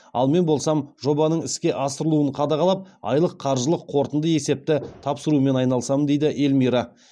ал мен болсам жобаның іске асырылуын қадағалап айлық қаржылық қортынды есепті тапсырумен айналысамын дейді эльмира